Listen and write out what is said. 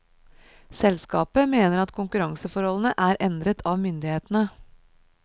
Selskapet mener at konkurranseforholdene er endret av myndighetene.